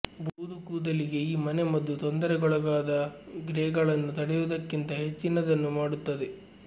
ಬೂದು ಕೂದಲಿಗೆ ಈ ಮನೆಮದ್ದು ತೊಂದರೆಗೊಳಗಾದ ಗ್ರೇಗಳನ್ನು ತಡೆಯುವುದಕ್ಕಿಂತ ಹೆಚ್ಚಿನದನ್ನು ಮಾಡುತ್ತದೆ